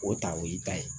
O ta o y'i ta ye